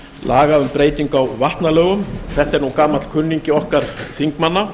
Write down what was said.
laga um breytingu á vatnalögum þetta er nú gamall kunningi okkar þingmanna